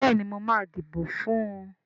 Béèni máa dìbò fún ùn.